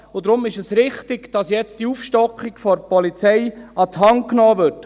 Deshalb ist es richtig, dass diese Aufstockung der Polizei jetzt an die Hand genommen wird.